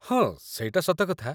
ହଁ, ସେଇଟା ସତକଥା ।